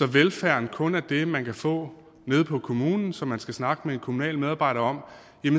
velfærden kun er det man kan få nede på kommunen som man skal snakke med en kommunal medarbejder om